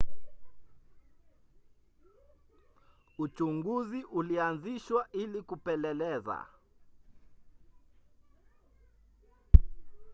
uchunguzi ulianzishwa ili kupeleleza